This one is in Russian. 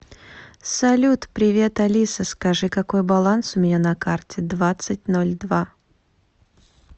салют привет алиса скажи какой баланс у меня на карте двадцать ноль два